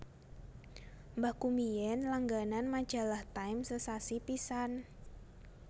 Mbahku biyen langganan majalah Time sesasi pisan